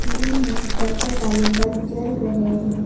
Ceiling में circle वाले bulb जल रहे हैं।